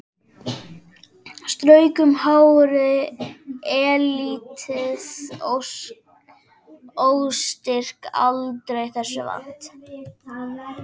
Strauk um hárið, eilítið óstyrk aldrei þessu vant.